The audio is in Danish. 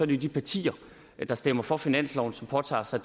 det de partier der stemmer for finansloven som påtager sig